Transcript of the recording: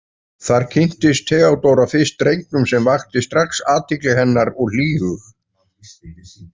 Þar kynntist Theodóra fyrst drengnum sem vakti strax athygli hennar og hlýhug.